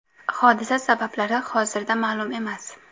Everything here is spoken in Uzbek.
Hodisa sabablari hozirda ma’lum emas.